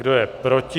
Kdo je proti?